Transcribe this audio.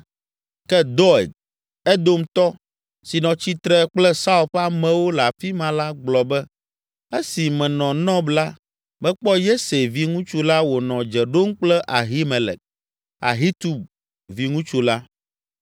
Ke Doeg, Edomtɔ, si nɔ tsitre kple Saul ƒe amewo le afi ma la gblɔ be, “Esi menɔ Nɔb la, mekpɔ Yese viŋutsu la wònɔ dze ɖom kple Ahimelek, Ahitub viŋutsu la.